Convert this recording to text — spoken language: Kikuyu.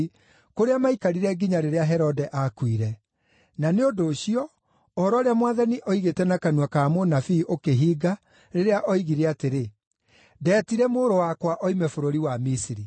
kũrĩa maikarire nginya rĩrĩa Herode aakuire. Na nĩ ũndũ ũcio, ũhoro ũrĩa Mwathani oigĩte na kanua ka mũnabii ũkĩhinga, rĩrĩa oigire atĩrĩ, “Ndeetire mũrũ wakwa oime bũrũri wa Misiri.”